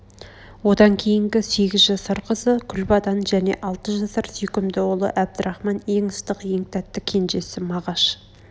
одан кейнгі сегіз жасар қызы күлбадан және алты жасар сүйкімді ұлы әбдрахман ең ыстық ең тәтті кенжесі мағаш